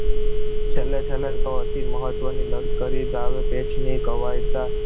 છેલ્લે છેલ્લે તો અતિ મહત્વની લક્ઝરી દાવે પેચ ની ગવાયતા